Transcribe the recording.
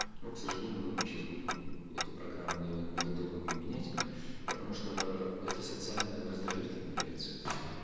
но к сожалению вот мы сейчас будем эту программу наверно методологию менять потому что это социально раздражительным является